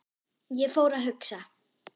Ég fór að hugsa.